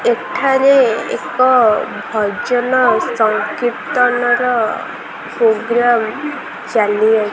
ଏଠାରେ ଏକ ଭଜନ କୀର୍ତ୍ତନ ର ଶୁଭ୍ୟମ୍ ଚାଲିଅଛି।